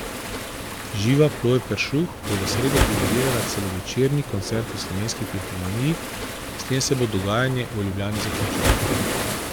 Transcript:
Živa Ploj Peršuh bo v sredo dirigirala celovečerni koncert v Slovenski filharmoniji, s tem se bo dogajanje v Ljubljani zaključilo.